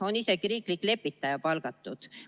On isegi riiklik lepitaja palgatud.